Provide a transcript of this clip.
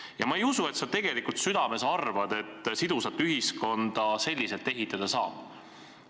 Ja ma ei usu, et sa tegelikult südames arvad, et sidusat ühiskonda selliselt ehitada saab.